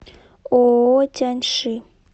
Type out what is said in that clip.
ооо тяньши